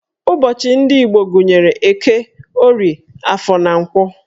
Ụbọchị ndị Igbo gụnyere Eke, Orie, Afọ, na Nkwọ